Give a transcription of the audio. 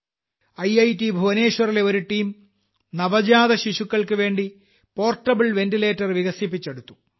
IIT ഭുവനേശ്വറിലെ ഒരു team നവജാതശിശുക്കൾക്കുവേണ്ടി പോർട്ടബിൾ വെന്റിലേറ്റർ വികസിപ്പിച്ചെടുത്തു